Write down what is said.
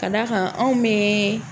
Ka d'a kan anw mɛɛ.